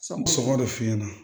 sɔngɔ de f'i ɲɛna